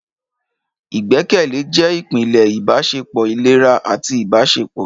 Ìgbẹ́kẹ̀lé jẹ́ ìpìlẹ̀ ìbáṣepọ̀ ìlera àti ìbáṣepọ̀.